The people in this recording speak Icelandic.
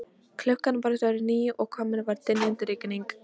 Klukkan var orðin níu og komin var dynjandi rigning.